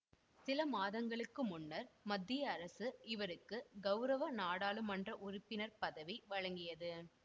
சில மாதங்களுக்கு முன்னர் மத்திய அரசு இவருக்கு கவுரவ நாடாளுமன்ற உறுப்பினர் பதவி வழங்கியது